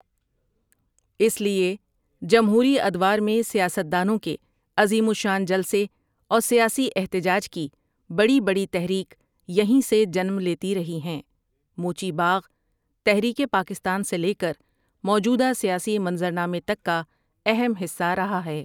اس لیے جمہوری ادوار میں سیاست دانوں کے عظیم الشان جلسے اور سیاسی احتجاج کی بڑی بڑی تحریک یہیں سے جنم لیتی رہی ہیں موچی باغ تحریک پاکستان سے لے کر موجودہ سیاسی منظر نامے تک کا اہم حصہ رہا ہے ۔